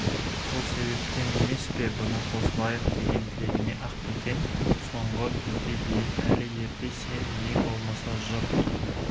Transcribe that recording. сол себептен емес пе бұның қосылайық деген тілегіне ақбөкен соңғы кезге дейін әлі ерте сен ең болмаса жұрт